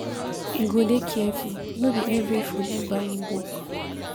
You go dey careful, no be every food you buy in bulk.